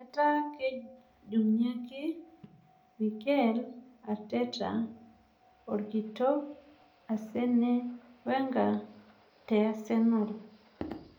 Etaa kejung'ake Mikel Arteta orkitok asene wenga te asenal